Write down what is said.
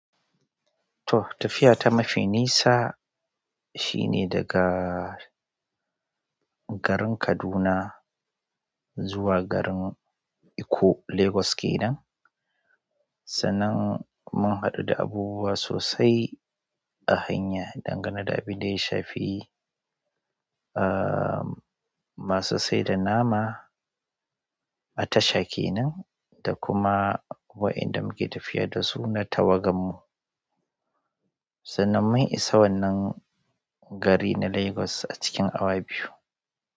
To tafiya ta mafi nisa shine daga garin Kaduna zuwa garin eko Lagos kenan. Sanan mun haɗu da abubuwa sosai a hanya, dangane da abin da ya shafi, aa, masu saida nama a tasha kenan da kuma wayanda muke tafiya dasu na tawagammu. Sanan mun isa wannan gari na Lagos a cikin awa biyu.